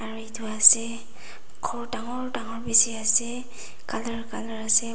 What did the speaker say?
aru etu ase ghor dagor dagor bi ase colour colour ase.